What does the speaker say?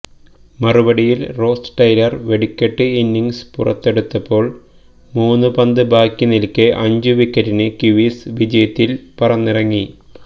മറുപടിയില് Ross Taylor വെടിക്കെട്ട് innings പുറത്തെടുത്തപ്പോള് മൂന്നു പന്ത് ബാക്കിനില്ക്കെ അഞ്ചു വിക്കറ്റിന് കിവീസ് വിജയത്തില് പറന്നിറങ്ങി